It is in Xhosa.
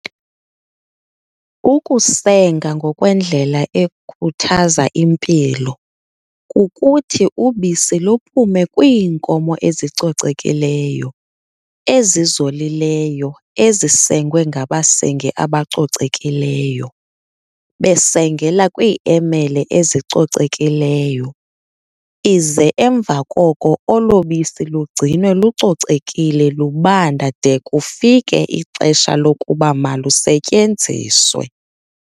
Ukusenga ngokwe ndlela ekhuthaza impilo, kukuthi ubisi luphume kwiinkomo ezicocekileyo, ezizolileyo ezisengwe ngabasengi abacocekileyo, besengela kwi emele ezicocekileyo, ize emva koko olobisi lugcinwe lucocekile lubanda de kufike ixesha lokuba malusetyenziswe.